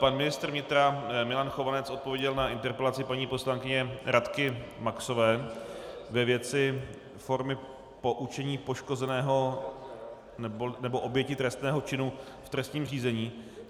Pan ministr vnitra Milan Chovanec odpověděl na interpelaci paní poslankyně Radky Maxové ve věci formy poučení poškozeného nebo oběti trestného činu v trestním řízení.